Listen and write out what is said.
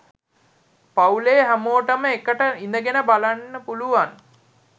පවුලෙ හැමෝටම එකට ඉඳගෙන බලන්න පුලුවන්